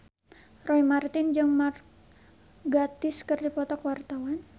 Roy Marten jeung Mark Gatiss keur dipoto ku wartawan